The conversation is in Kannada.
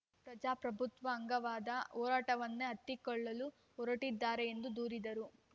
ಪ್ರಜಾಪ್ರಭುತ್ವ ಅಂಗವಾದ ಹೋರಾಟವನ್ನೇ ಹತ್ತಿಕ್ಕಲು ಹೊರಟಿದ್ದಾರೆ ಎಂದು ದೂರಿದರು